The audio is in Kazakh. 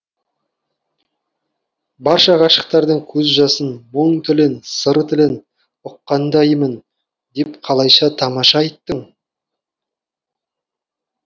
барша ғашықтардың көз жасын мұң тілін сыр тілін ұққандаймын деп қалайша тамаша айттың